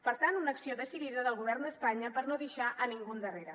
per tant una acció decidida del govern d’espanya per no deixar ningú endarrere